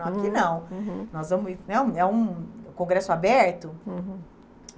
Falaram, aqui não, nós vamos então, é um um congresso aberto. Uhum.